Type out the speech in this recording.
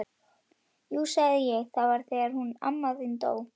Jú sagði ég, það var þegar hún amma þín dó